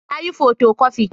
Na yi fotokofi